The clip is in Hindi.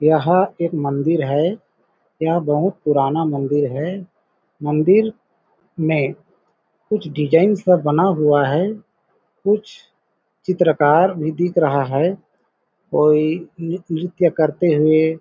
यह एक मंदिर है यह बहुत पुराना मंदिर है मंदिर में कुछ डिजाइनस बना हुआ है कुछ चित्रकार भी दिख रहा है कोई नित् नृत्य करते हुए --